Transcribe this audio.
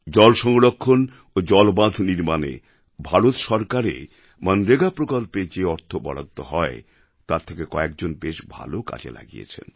জলসংরক্ষণ ও জলবাঁধ নির্মাণে ভারতসরকারে মন্রেগা প্রকল্পে যে অর্থ বরাদ্দ হয় তা অনেকেই বেশ ভালোভাবে কাজে লাগিয়েছেন